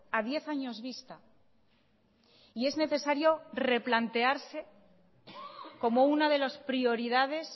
a diez años vista y es necesario replantearse como una de las prioridades